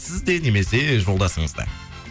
сіз де немесе жолдасыңызда